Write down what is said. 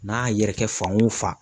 N'a yɛrɛkɛ fan o fan